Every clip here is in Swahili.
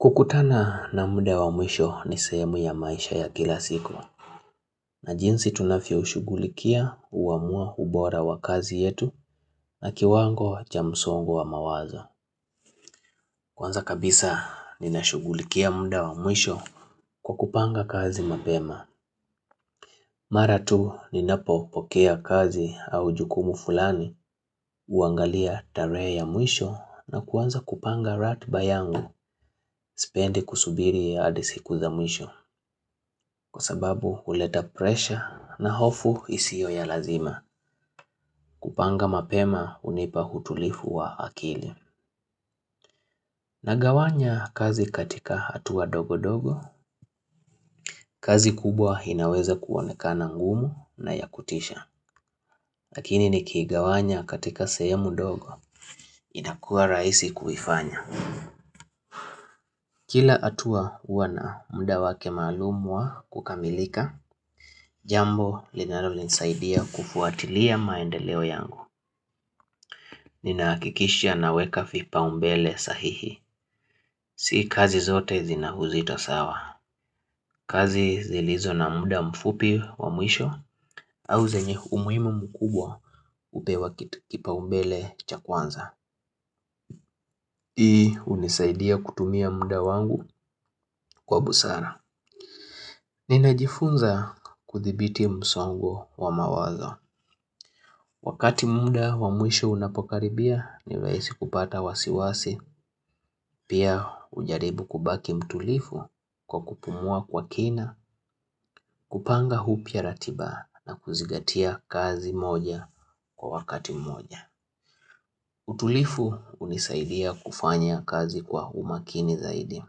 Kukutana na muda wa mwisho ni sehemu ya maisha ya kila siku. Na jinsi tunafyo shugulikia huamua ubora wa kazi yetu na kiwango cha msongo wa mawazo. Kwanza kabisa ninashugulikia muda wa mwisho kwa kupanga kazi mapema. Mara tu ninapo pokea kazi au jukumu fulani, uangalia tarehe ya mwisho na kuanza kupanga ratiba yangu. Sipendi kusubiri hadi siku zamwisho kwa sababu huleta presha na hofu isiyo ya lazima kupanga mapema unipa utulifu wa akili. Nagawanya kazi katika hatua dogo dogo, kazi kubwa inaweza kuonekana ngumu na ya kutisha. Lakini nikigawanya katika sahemu dogo inakuwa rahisi kuifanya. Kila atua wana muda wake maalum wa kukamilika, jambo linalo nisaidia kufuatilia maendeleo yangu. Ninaakikisha naweka fipa umbele sahihi. Si kazi zote zina uzito sawa. Kazi zilizo na muda mfupi wa mwisho au zenye umuhimu mkubwa upewa kipa umbele cha kwanza. Hii unisaidia kutumia muda wangu kwa busara. Nina jifunza kuthibiti msongo wa mawazo. Wakati muda wa mwisho unapokaribia ninahisi kupata wasiwasi, pia ujaribu kubaki mtulifu kwa kupumua kwa kina, kupanga upya ratiba na kuzigatia kazi moja kwa wakati moja. Utulifu unisaidia kufanya kazi kwa umakini zaidi.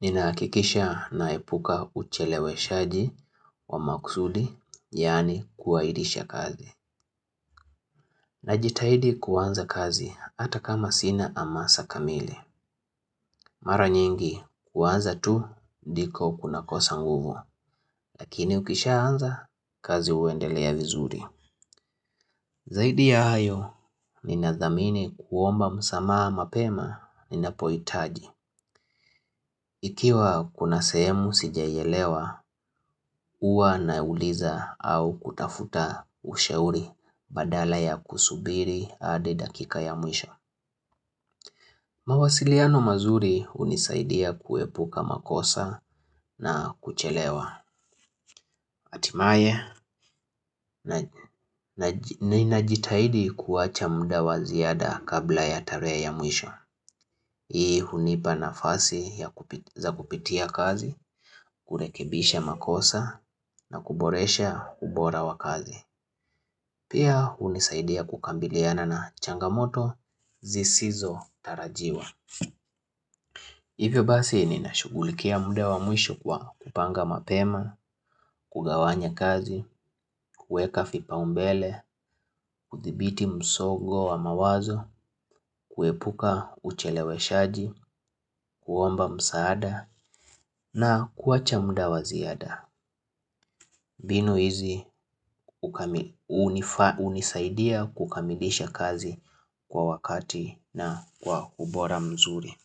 Ninaakikisha naepuka ucheleweshaji wa maksudi, yani kuahirisha kazi. Najitahidi kuwanza kazi hata kama sina amasa kamili. Mara nyingi kuanza tu ndiko kunakosa nguvu, lakini ukishaanza kazi uendelea vizuri. Zaidi ya hayo, nina dhamini kuomba msamaa mapema ninapoitaji. Ikiwa kuna sehemu sijaielewa, huwa nauliza au kutafuta ushauri badala ya kusubiri hadi dakika ya mwisho. Mawasiliano mazuri hunisaidia kuepuka makosa na kuchelewa. Atimaye na ninajitahidi kuwacha muda wa ziada kabla ya tarehe ya mwisho. Hii hunipa nafasi za kupitia kazi, kurekebisha makosa na kuboresha ubora wa kazi. Pia hunisaidia kukambiliana na changamoto zisizo tarajiwa. Hivyo basi nina shugulikia muda wa mwisho kwa kupanga mapema, kugawanya kazi, kuweka fipa umbele, kuthibiti msogo wa mawazo, kuepuka ucheleweshaji, kuomba msaada na kuacha muda wa ziada. Binu hizi unisaidia kukamilisha kazi kwa wakati na kwa ubora mzuri.